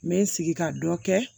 N bɛ n sigi ka dɔ kɛ